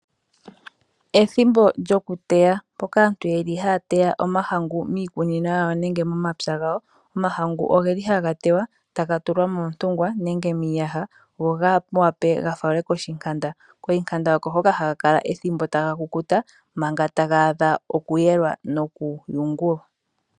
Ethimbo lyokuteya mpoka aantu haya teya omahangu miikunino nenge momapya gawo. Omahangu ogaha teywa taga tulwa montungwa nenge miiyaha, opo ga wape gafalwe koshihayaya. Koshihayaya oko hoka omahangu haga kala manga taga kukuta, manga taga adha okuyungulwa nokuyelwa.